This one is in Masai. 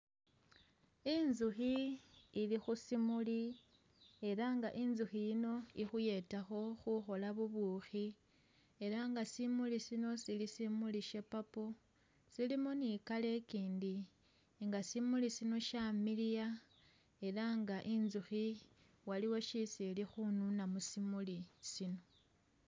Inzukhi ili khu simuli ela nga inzukhi yino ikhuyetakho khukhola bubukhi ela nga simuli sino sili simuli Sha purple, silimo ni color ikindi nga simuli sino shamiliya ela nga inzukhi waliwo shisi ili khununa musimuli sino